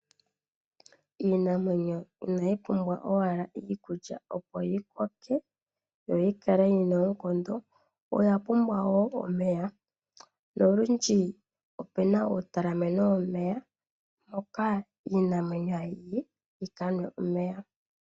Iinamwenyo inayi pumbwa owala iikulya opo yikoke yo yikale yina oonkondo oyapumbwa wo omeya. Nolundji opena uutalameno womeya mpoka iinamwenyo hayi yi yikanwe omeya.